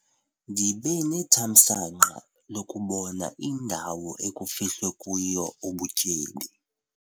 Ndibe nethamsanqa lokubona indawo ekufihlwe kuyo ubutyebi.